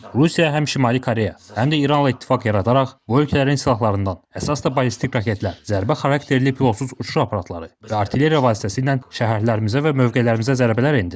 Rusiya həm Şimali Koreya, həm də İranla ittifaq yaradaraq bu ölkələrin silahlarından, əsas da ballistik raketlər, zərbə xarakterli pilotsuz uçuş aparatları və artilleriya vasitəsilə şəhərlərimizə və mövqelərimizə zərbələr endirir.